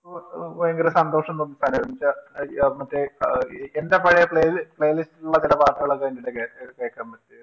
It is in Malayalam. ഭയങ്കര സന്തോഷം തോന്നുന്നുവച്ചാല് മറ്റേ എന്റെ പഴയ Playlist ൽ ഉള്ള ചില പാട്ടുകളൊക്കെ അതിന്റകത്തു കേൾക്കാൻ പറ്റി